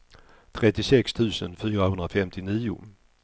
trettiosex tusen fyrahundrafemtionio